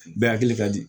Bɛɛ hakili ka di